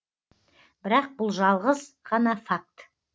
бірақ бұл жалғыз ғана факт